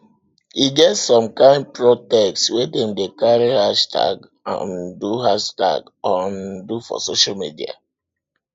e get some kind protest wey dem dey carry hashtag um do hashtag um do for social media